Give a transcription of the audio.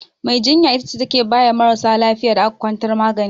Mai jinya ita ce take baya marasa lafiyar da aka kwantar magani.